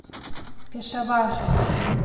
пешавар